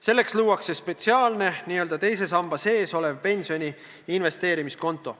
Selleks luuakse spetsiaalne n-ö teise samba sees olev pensioni investeerimiskonto.